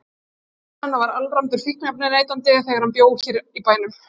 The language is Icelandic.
Barnsfaðir hennar var alræmdur fíkniefnaneytandi þegar hann bjó hér í bænum.